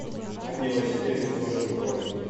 анне васильевне сошниковой